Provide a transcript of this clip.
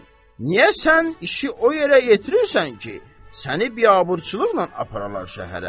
Niyə sən işi o yerə yetirirsən ki, səni biabırçılıqla aparalar şəhərə?